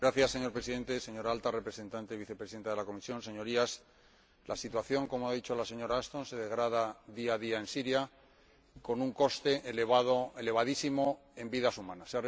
Señor Presidente, señora Alta Representante y Vicepresidenta de la Comisión, Señorías, la situación, como ha dicho la señora Ashton, se degrada día a día en Siria, con un coste elevadísimo en vidas humanas.